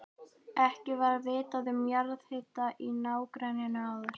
Ekki var vitað um jarðhita í nágrenninu áður.